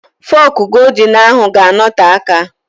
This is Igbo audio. Fọk goldin ahụ ga-anote aka